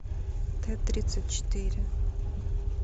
т тридцать четыре